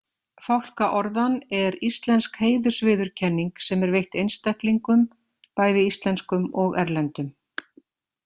Fálkaorðan er íslensk heiðursviðurkenning sem er veitt einstaklingum, bæði íslenskum og erlendum.